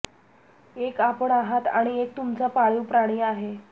एक आपण आहात आणि एक तुमचा पाळीव प्राणी आहे